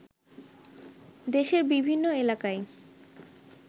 দেশের বিভিন্ন এলাকায়